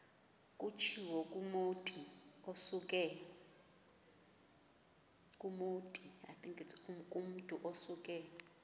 kutshiwo kumotu osuke